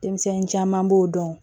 Denmisɛnnin caman b'o dɔn